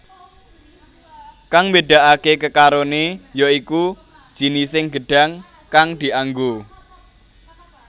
Kang mbedakake kekarone ya iku jinising gedhang kang dianggo